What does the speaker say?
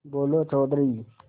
बोलो चौधरी